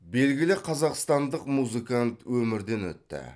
белгілі қазақстандық музыкант өмірден өтті